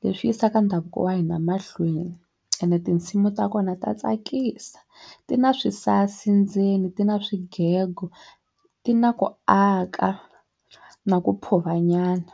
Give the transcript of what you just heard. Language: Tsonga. leswi yisaka ndhavuko wa hina mahlweni ene tinsimu ta kona ta tsakisa ti na swisasi ndzeni ti na swigego ti na ku aka na ku phuva nyana.